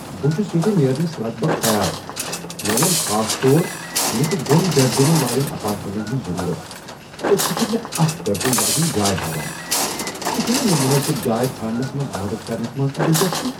بہٕ چُھس ییتہِ نیرنس لگ بھگ تیار ۔ مےٚ ووٚن خاص طور مےٚ چھِ دۄن بیڈ رومن والین ایپارٹمینٹن ہٕنٛز ضرورت ، تہٕ ژٕ چُھکھ مےٚ اكھ بیڈ روم واجیٚنۍ جاے ہاوان ۔ ژےٚ چھیہ نَہ مےٚ منٲسب جاے ژھانڈنس منز مدد كرنس منز تہِ دلچسپی ۔